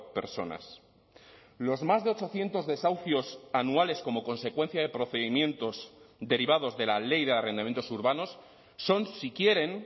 personas los más de ochocientos desahucios anuales como consecuencia de procedimientos derivados de la ley de arrendamientos urbanos son si quieren